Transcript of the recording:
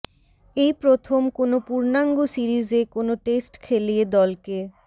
এই প্রথম কোনো পূর্ণাঙ্গ সিরিজে কোনো টেস্ট খেলিয়ে দলকে